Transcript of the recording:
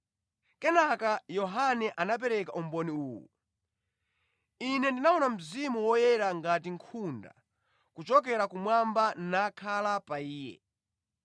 Kenaka Yohane anapereka umboni uwu: “Ine ndinaona Mzimu Woyera ngati nkhunda kuchokera kumwamba nakhala pa Iye.